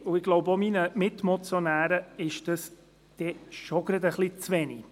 Mir, und ich glaube auch meinen Mitmotionären, ist das etwas zu wenig.